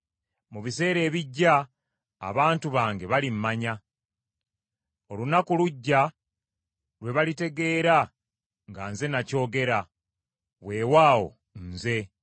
Mu biseera ebijja abantu bange balimmanya. Olunaku lujja lwe balitegeera nga nze nakyogera. Weewaawo, Nze.”